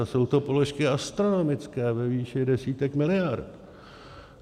A jsou to položky astronomické, ve výši desítek miliard.